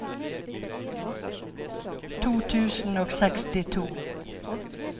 to tusen og sekstito